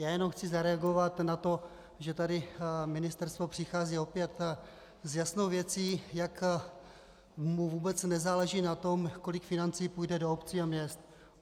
Já jenom chci zareagovat na to, že tady ministerstvo přichází opět s jasnou věcí, jak mu vůbec nezáleží na tom, kolik financí půjde do obcí a měst.